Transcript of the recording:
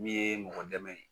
Min ye mɔgɔ dɛmɛ ye.